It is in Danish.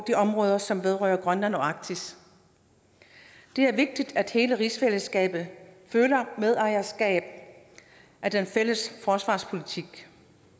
de områder som vedrører grønland og arktis det er vigtigt at hele rigsfællesskabet føler medejerskab af den fælles forsvarspolitik